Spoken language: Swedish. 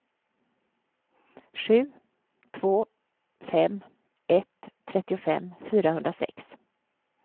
sju två fem ett trettiofem fyrahundrasex